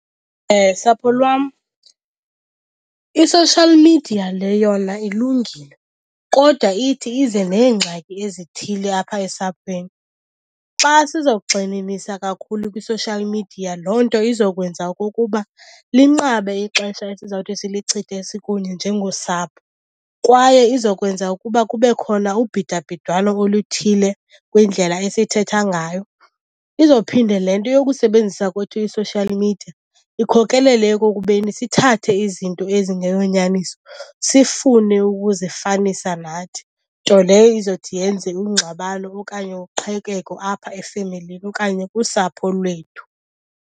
Sapho lwam, i-social media le yona ilungile kodwa ithi ize neengxaki ezithile apha esaphweni. Xa sizawugxininisa kakhulu kwi-social media, loo nto izokwenza okukuba linqabe ixesha esizawuthi silichithe sikunye njengosapho. Kwaye izokwenza ukuba kube khona ubhidabhidwano oluthile kwindlela esithetha ngayo. Izophinde le nto yokusebenzisa kwethu i-social media ikhokelele ekokubeni sithathe izinto ezingeyonyaniso sifune ukuzifanisa nathi, nto leyo izothi yenze ingxabano okanye uqhekeko apha efemelini okanye kusapho lwethu.